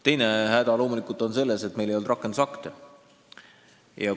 Teine häda on loomulikult selles, et meil ei olnud rakendusakte.